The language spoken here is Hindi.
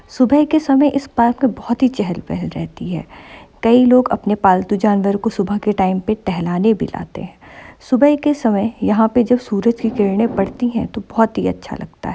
सुबह के समय इस पार्क में बहुत चहल पहल रहती है। कई लोग अपने पालतू जानवरो को सुबह के टाइम पे टहलाने भी लातें है। सुबह के समय यहाँ पे जो सूरज की किरणें पड़ती है तो बहुत ही अच्छा लगता है।